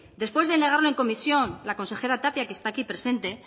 después de negarlo en comisión la consejera tapia que está aquí presente